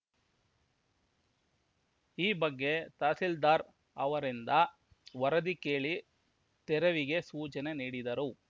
ಈ ಬಗ್ಗೆ ತಹಸೀಲ್ದಾರ್‌ ಅವರಿಂದ ವರದಿ ಕೇಳಿ ತೆರವಿಗೆ ಸೂಚನೆ ನೀಡಿದರು